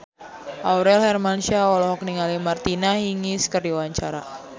Aurel Hermansyah olohok ningali Martina Hingis keur diwawancara